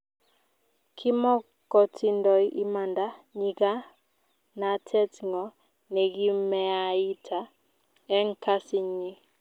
kimokotindoi imanda nyikanatet ngo nekimeaita eng Kasi nyi